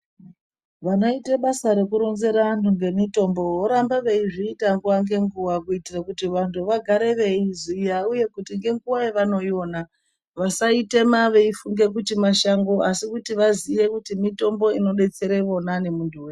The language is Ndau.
Vanoita basa rekuronzera vantu ngezvemitombo voramba veiita nguwa ngenguwa kuitira kuti vantu vagare veiziya uye kuti ngenguwa yavanoiona vasaitema veifunge kuti mashango asi kuti vazive kuti mitombo inodetsera ivona nemuntu weshe.